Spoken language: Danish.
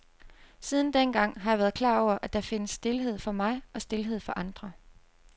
Siden dengang har jeg været klar over, at der findes stilhed for mig og stilhed for andre.